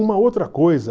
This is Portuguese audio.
Uma outra coisa...